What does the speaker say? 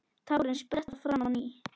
Tárin spretta fram á ný.